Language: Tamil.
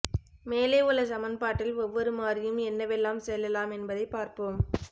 மேலே உள்ள சமன்பாட்டில் ஒவ்வொரு மாறியும் என்னவெல்லாம் செல்லலாம் என்பதைப் பார்ப்போம்